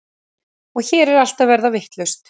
Og hér er allt að verða vitlaust.